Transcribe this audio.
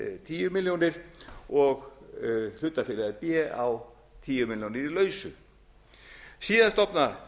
tíu milljónir og hlutafélagið b á tíu milljónir í lausu síðan stofnar